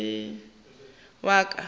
ga se wa ka wa